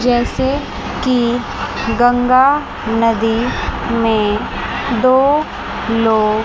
जैसे कि गंगा नदी में दो लोग--